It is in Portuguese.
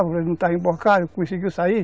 O país não estava emborcado, conseguiu sair.